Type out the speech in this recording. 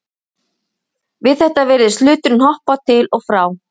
Við þetta virðist hluturinn hoppa til og frá.